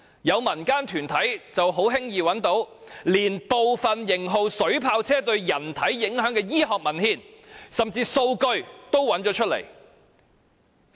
有民間團體已輕易找到部分型號水炮車對人體影響的醫學文獻，甚至連數據也有。